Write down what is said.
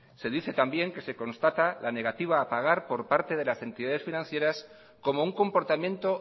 se dice también que se constata la negativa a pagar por parte de las entidades financieras como un comportamiento